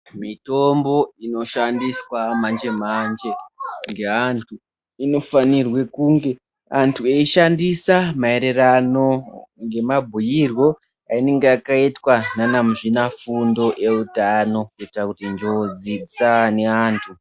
Mitombo inoshandiswa manje manje ngeantu inofanirwe kunge antu eishandisa maererano ngemabhuirwo einenge yakaitwa ndiana muzvinafundo eutano kuitira kuti njodzi dzisaine neantu.